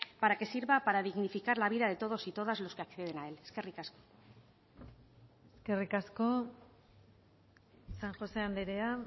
para que sirva para dignificar la vida de todos y todas los que acceden a él eskerrik asko eskerrik asko san josé andrea